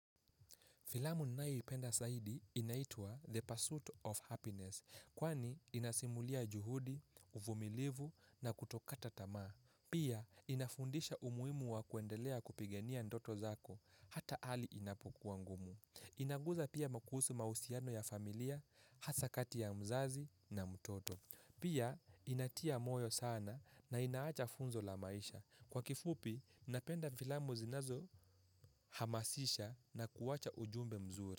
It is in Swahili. Filamu ninayoipenda zaidi inaitwa the pursuit of happiness. Kwani inasimulia juhudi, uvumilivu na kutokata tamaa. Pia inafundisha umuhimu wa kuendelea kupigania ndoto zako. Hata hali inapokua ngumu. Inaguza pia kuhusu mahusiano ya familia, hasa kati ya mzazi na mtoto. Pia inatia moyo sana na inaacha funzo la maisha. Kwa kifupi, napenda filamu zinazohamasisha na kuacha ujumbe mzuri.